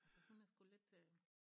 Altså hun er sgu lidt øh